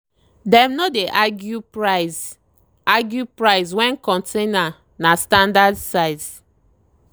dem no dey argue price argue price when container na standard size.